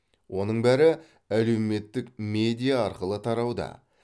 оның бәрі әлеуметтік медиа арқылы тарауда